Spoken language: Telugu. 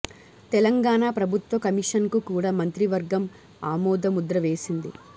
తెలంగాణ ప్రభుత్వ కమిషన్ కు కూడా మంత్రి వర్గం ఆమోద ముద్ర వేసింది